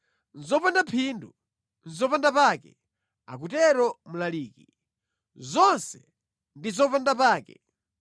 “Zopanda phindu! Zopandapake!” akutero Mlaliki. “Zonse ndi zopandapake!”